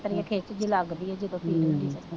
ਆਂਦਰਾਂ ਉਂਦਰਾਂ ਤੇ ਅੰਦਰ ਖਿੱਚ ਜੇਹੀ ਲੱਗਦੀ,